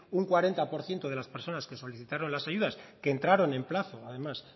un cuarenta por ciento de las personas que solicitaron las ayudas que entraron en plazo además